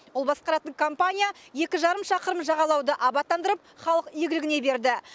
ол басқаратын компания екі жарым шақырым жағалауды абаттандырып халық игілігіне берді